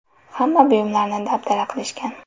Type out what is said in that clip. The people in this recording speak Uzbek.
Hamma buyumlarni dabdala qilishgan.